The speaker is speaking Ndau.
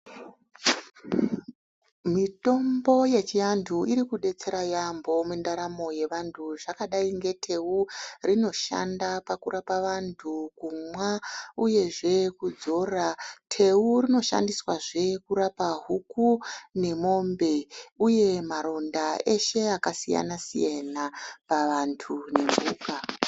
Mitombo yechiantu irikudetsera yaambo mundaramo yevantu. Zvekadai neteu rinoshanda pakurapa vantu kumwa uyezve kudzora. Teu rinoshandiswazve kurapa huku nemombe, uye maronda eshe akasiyana-siyana pavantu nemhuka.